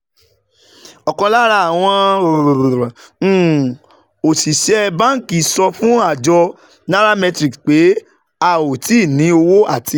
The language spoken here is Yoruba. Ọ̀kan lára àwọn um òṣìṣẹ́ banki sọ fún àjọ nairametrics pé, "a ò tíì ní owó àti